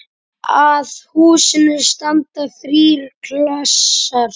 Að húsinu standa þrír klasar.